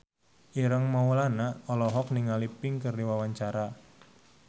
Ireng Maulana olohok ningali Pink keur diwawancara